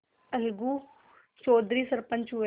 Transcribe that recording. अलगू चौधरी सरपंच हुए